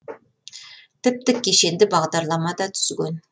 тіпті кешенді бағдарлама да түзген